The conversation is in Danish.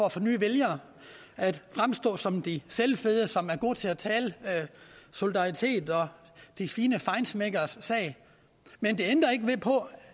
at få nye vælgere at fremstå som de selvfede som er gode til at tale solidaritet og de fine feinschmeckeres sag men det ændrer ikke på